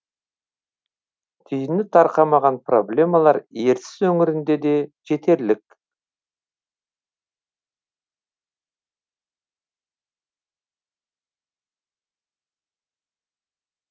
түйіні тарқамаған проблемалар ертіс өңірінде де жетерлік